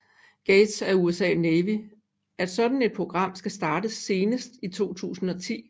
Gates at US Navy at sådan et program skal startes senest i 2010